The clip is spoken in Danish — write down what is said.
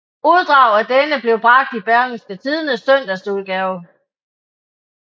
Uddrag af denne blev bragt i Berlingske Tidendes søndagsudgave